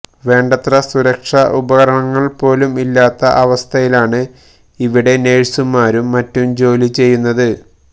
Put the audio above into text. വേണ്ടത്ര സുരക്ഷാ ഉപകരണങ്ങൾ പോലും ഇല്ലാത്ത അവസ്ഥയിലാണ് ഇവിടെ നഴ്സുമാരും മറ്റും ജോലി ചെയ്യുന്നത്